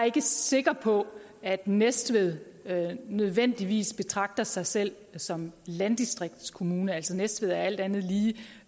ikke sikker på at næstved nødvendigvis betragter sig selv som landdistriktskommune altså næstved er alt andet lige